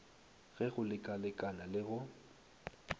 le go lekalekana le go